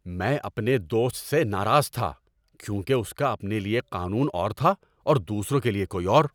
میں اپنے دوست سے ناراض تھا کیونکہ اس کا اپنے لیے قانون اور تھا اور دوسروں کے لیے کوئی اور۔